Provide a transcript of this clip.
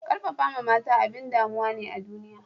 Karfafawa mata abin damuwa ne a duniya